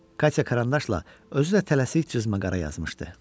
Katya karandaşla özü də tələsik cızmaqara yazmışdı.